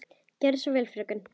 Gerðu svo vel, fröken!